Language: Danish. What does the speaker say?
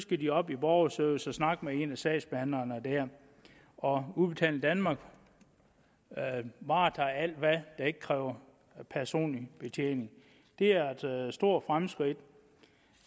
de op i borgerservice og snakke med en af sagsbehandlerne der og udbetaling danmark varetager så alt hvad der ikke kræver personlig betjening det er altså et stort fremskridt